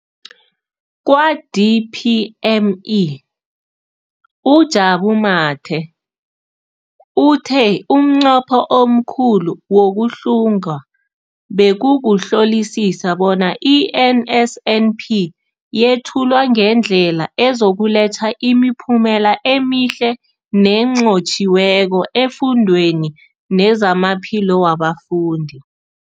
Kwa-DPME, uJabu Mathe, uthe umnqopho omkhulu wokuhlunga bekukuhlolisisa bona i-NSNP yethulwa ngendlela ezokuletha imiphumela emihle nenqotjhiweko efundweni nezamaphilo wabafundi.